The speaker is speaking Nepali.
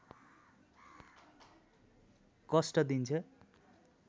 कष्ट दिन्छ